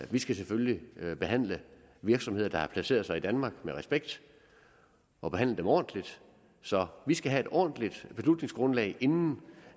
vi skal selvfølgelig behandle virksomheder der har placeret sig i danmark med respekt og behandle dem ordentligt så vi skal have et ordentligt beslutningsgrundlag inden